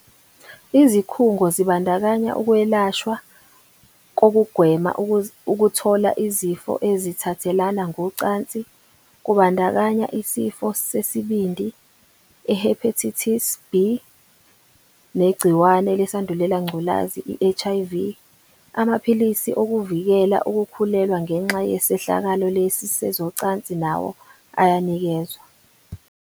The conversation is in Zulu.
"Izikhungo zibandakanya ukwelashwa kokugwema ukuthola izifo ezithathelana ngocansi kubandakanya isifo sesibindi, i-Hepatitis B, negci wane leSandulelangculazi, i-HIV. Amaphilisi okuvikela ukukhulelwa ngenxa yesehlakalo lesi sezocansi nawo ayanikezwa."